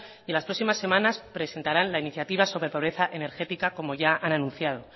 y en las próximas semanas presentarán la iniciativa sobre pobreza energética como ya han anunciado